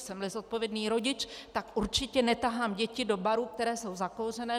Jsem-li zodpovědný rodič, tak určitě netahám děti do barů, které jsou zakouřené.